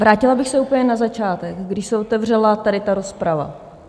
Vrátila bych se úplně na začátek, když se otevřela tady ta rozprava.